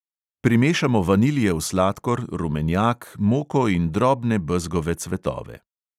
Primešamo vaniljev sladkor, rumenjak, moko in drobne bezgove cvetove.